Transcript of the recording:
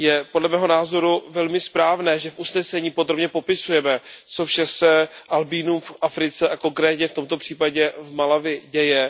Podle mého názoru je velmi správné, že v usneseních podrobně popisujeme, co vše se albínům v Africe a konkrétně v tomto případě v Malawi děje.